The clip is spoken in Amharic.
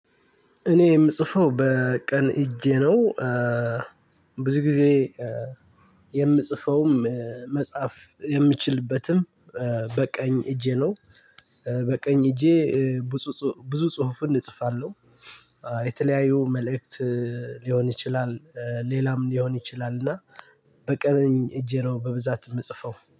እኔ የምጽፈው በቀን እጄ ነው። ብዙ ጊዜ የምጽፈውም መጻፍ የምችልበትም በቀኝ እጄ ነው። በቀኝ እጄ ብጹ ጹ ብዙ ጽሁፍን እጽፋለው። የተለያዩ መልእክት ሊሆን ይችላል። ሌላም ሊሆን ይችላልና በቀንኝ እጄ ነው በብዛት የምጽፈው።